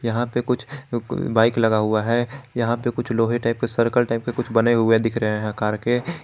यहां पे कुछ बाइक लगा हुआ है यहां पे कुछ लोहे टाइप के सर्कल टाइप के कुछ बने हुए दिख रहे है आकार के--